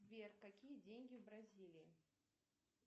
сбер какие деньги в бразилии